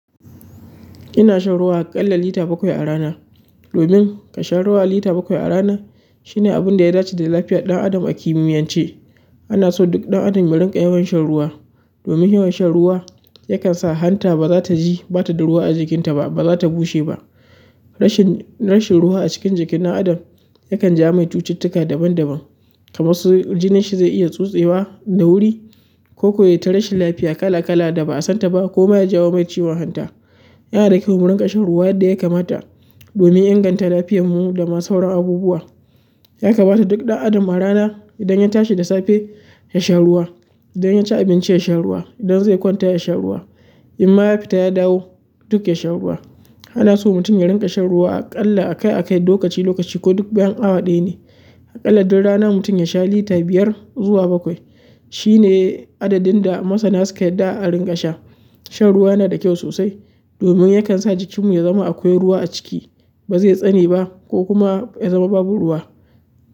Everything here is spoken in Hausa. Ina shan ruwa aƙalla lita bakwai a rana. Domin kasha ruwa lita bakwai a rana shine abun da ya dace da lafiyar ɗan adam a kimiyance. Ana so duk ɗan adam ya rinƙa yawan shan ruwa. Domin yawan shan ruwa yakan sa hanta ba za ta ji bata da ruwa a jikinta ba, ba za ta bushe ba. Rashin, rashin ruwa a cikin jikin ɗan adam yakan jawo mai cututtuka daban daban. Kamar su jinin shi zai iya tsotsewa da wuri, ko kuwa yayi ta rashin lafiya kala kala da ba a san ta ba koma ya jawo mai ciwon hanta. Yana da kyau mu rinƙa shan ruwa yadda ya kamata domin inganta lafiyar mu da ma sauran abubuwa. Yakamata duk ɗan adam a rana idan ya tashi da safe, ya sha ruwa. Idan ya ci abinci, ya sha ruwa. Idan zai kwanta, ya sha ruwa. In ma ya fita ya dawo duk ya sha ruwa. Ana so mutum ya rinƙa shan ruwa aƙalla a kai a kai, lokaci lokaci ko duk bayan awa ɗaya ne. Aƙalla duk rana mutum ya sha lita biyar zuwa bakwai. Shi ne adadin da masana suke yarda a rinƙa sha. Shan ruwa yana da kyau sosai domin yakan sa jikinmu ya zama akwai ruwa a ciki, ba zai tsane ba ko kuma ya zama babu ruwa.